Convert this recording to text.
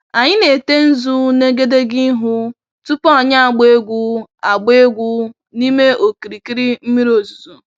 Anyị na-ete nzu n'egedege ihu tupu anyị agbaa egwu agbaa egwu n'ime okirikiri mmiri ozuzo.